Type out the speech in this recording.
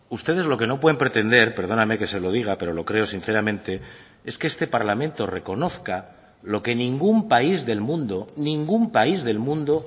ustedes lo que no pueden pretender perdóname que se lo diga pero lo creo sinceramente es que este parlamento reconozca lo que ningún país del mundo ningún país del mundo